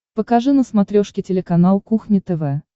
покажи на смотрешке телеканал кухня тв